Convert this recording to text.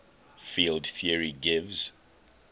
field theory gives